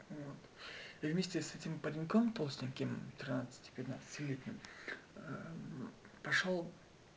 вот и вместе с этим пареньком толстеньким тринадцати пятнадцатилетним пошёл